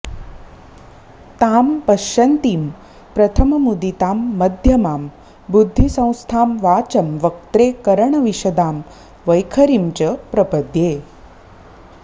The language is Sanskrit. तां पश्यन्तीं प्रथममुदितां मध्यमां बुद्धिसंस्थां वाचं वक्त्रे करणविशदां वैखरीं च प्रपद्ये